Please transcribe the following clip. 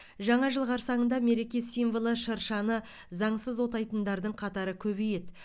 жаңа жыл қарсаңында мереке символы шыршаны заңсыз отайтындардың қатары көбейеді